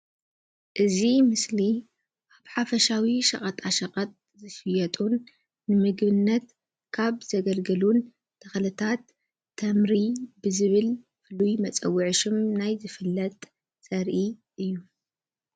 እዚ ምስሊ ሓፈሻዊ ሸቀጣሸቀጥ ዝሽየጡን ንምግብነት ካብ ዘገልግሉን ተኽልታት ተምሪ ብዝብል ፉሉይ መፀውዒ ሽም ናይ ዝፍለጥ ዘርኢ እዩ።